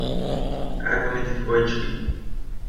Kaj pa med dvojčki?